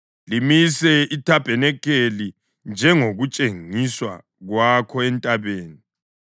Limise ithabanikeli njengokutshengiswa kwakho entabeni.